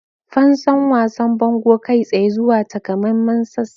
Fansan wasan bango kai tsaye zuwa takamaiman sassan.